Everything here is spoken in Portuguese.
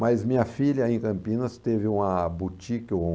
Mas minha filha em Campinas teve uma boutique um...